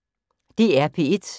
DR P1